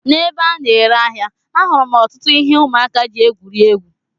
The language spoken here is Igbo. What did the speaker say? N'ebe a na-ere ahịa, ahụrụ m ọtụtụ ihe ụmụaka ji egwuri egwu.